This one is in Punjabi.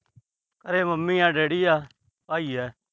ਘਰੇ ਮੰਮੀ ਆ, ਡੈਡੀ ਆ, ਭਾਈ ਆ।